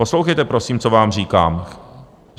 Poslouchejte, prosím, co vám říkám.